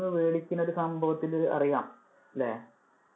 നിന്നു മേടിക്കുന്നഒരു സംഭവത്തില്‍ ഇത് അറിയാം അല്ലെ.